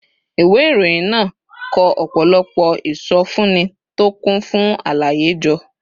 ìwé ìròyìn náà kó ọ̀pọ̀lọpọ̀ ìsọfúnni tó kún fún àlàyé jọ